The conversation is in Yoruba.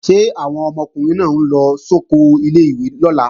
Ṣé àwọn ọmọkùnrin náà ń lọ sóko ilé-ìwé lọ́la?